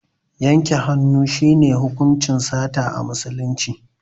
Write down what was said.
Yanke hannu shi ne hukuncin sata a musulunci